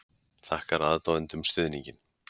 Þakkar aðdáendum stuðninginn